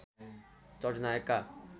चर्चित नायकका